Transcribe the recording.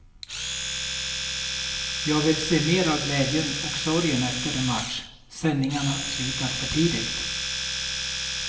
Jag vill se mer av glädjen och sorgen efter en match, sändningarna slutar för tidigt.